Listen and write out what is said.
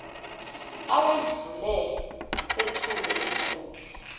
owedlule sethule inkundla